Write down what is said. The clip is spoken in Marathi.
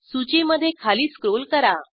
सूचीमधे खाली स्क्रॉल करा